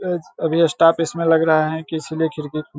अभी स्टाफ इसमें लग रहा है किसी ले खिड़की --